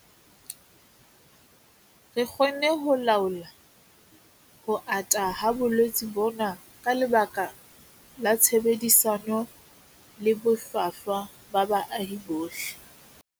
Re kgonne ho laola ho ata ha bolwetse bona ka lebaka la tshebedisano le bohlwahlwa ba baahi bohle.